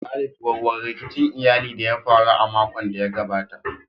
Khalid, warware rikicin iyali da ya faru a makon da ya gabata.